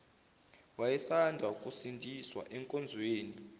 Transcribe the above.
wayesanda kusindiswa enkonzweni